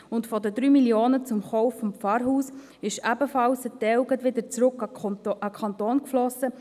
Und von den 3 Mio. Franken für den Kauf des Pfarrhauses floss in Form des Kaufpreises ebenfalls ein Teil gleich wieder an den Kanton zurück.